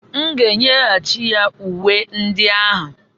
M ga-enyeghachi ya uwe ndị ahụ.